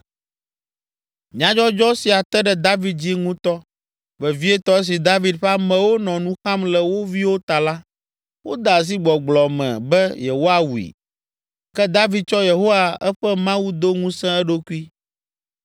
Nyadzɔdzɔ sia te ɖe David dzi ŋutɔ, vevietɔ esi David ƒe amewo nɔ nu xam le wo viwo ta la, wode asi gbɔgblɔ me be yewoawui. Ke David tsɔ Yehowa eƒe Mawu do ŋusẽ eɖokui.